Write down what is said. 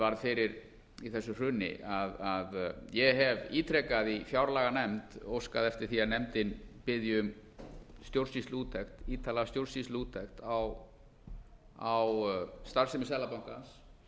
varð fyrir í þessu hruni að ég hef ítrekað í fjárlaganefnd óskað eftir því að nefndin biðji um stjórnsýsluúttekt ítarlega stjórnsýsluúttekt á starfsemi seðlabankans